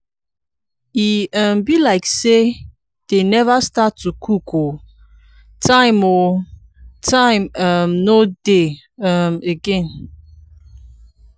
e um be like say dey never start to cook ooo. time ooo. time um no dey um again.